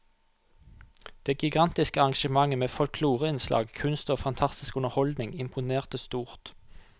Det gigantiske arrangementet med folkloreinnslag, kunst og fantastisk underholdning imponerte stort.